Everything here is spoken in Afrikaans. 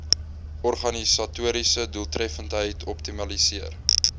organisatoriese doeltreffendheid optimaliseer